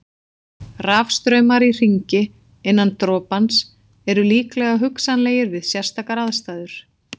Rafstraumar í hringi innan dropans eru líka hugsanlegir við sérstakar aðstæður.